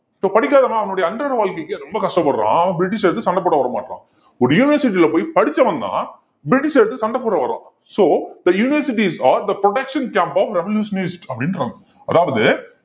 so படிக்காதவன் அவனுடைய அன்றாட வாழ்க்கைக்கு ரொம்ப கஷ்டப்படுறான் அவன் பிரிட்டிஷ எதிர்த்து சண்டை போட வர மாட்டான் ஒரு university ல போய் படிச்சவன்தான் பிரிட்டிஷ எதிர்த்து சண்டை போட வர்றான் so the universities are the production camp of revolutionist அப்படின்றாங்க அதாவது